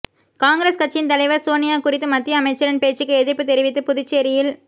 காங்கிரஸ் கட்சியின் தலைவர் சோனியா குறித்து மத்திய அமைச்சரின் பேச்சுக்கு எதிர்ப்பு தெரிவித்து புதுச்சேரியில்